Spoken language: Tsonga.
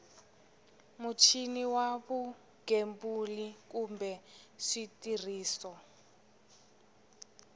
muchini wa vugembuli kumbe switirhiso